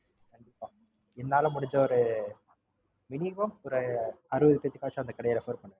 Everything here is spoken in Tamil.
கண்டிப்பா என்னால முடிஞ்ச ஒரு Minimum ஒரு அறுபது பேருக்கச்சு நான் அந்த கடைய Refer பண்றேன்.